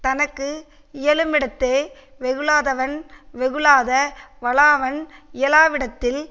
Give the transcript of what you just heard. தனக்கு இயலு மிடத்தே வெகுளாதவன் வெகுளாத வனாவான் இயலாவிடத்தில்